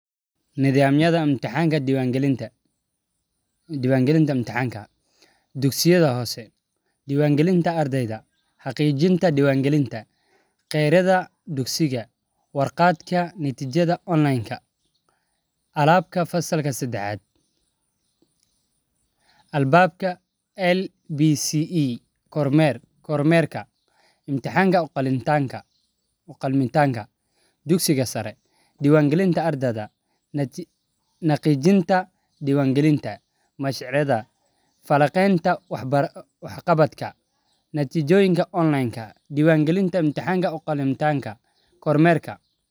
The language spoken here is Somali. Nithamyada intaxanka diwan galinta imtixanka dugsiga hose alabka fasalk sadaxad kormerka intixanka uqalantidha falaqenta wax qabada kormerka si ardeyda waxee ka faidheysatan fursaad ee ku helan oo ee ka faideystan gadashan tas oo ka cawisa si ee wax u saran diraada.